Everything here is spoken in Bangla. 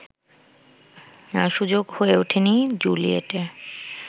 সুযোগ হয়ে ওঠেনি জুলিয়েটের